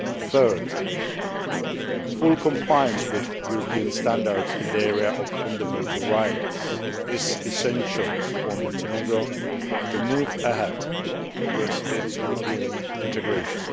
Thirdly, full compliance with European standards in the area of fundamental rights is essential for Montenegro to move ahead with its European integration.